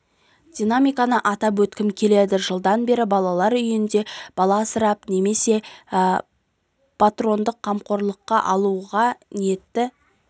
динамиканы атап өткім келеді жылдан бері балалар үйінде бала асырап немесе патронаттық қамқорлыққа алуға ниетті